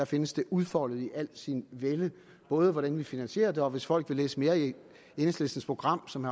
findes det udfoldet i al sin vælde hvordan vi finansierer det og hvis folk vil læse mere i enhedslistens program som